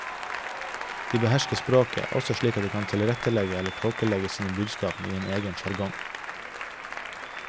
De behersker språket, også slik at de kan tilrettelegge eller tåkelegge sine budskap i en egen sjargong.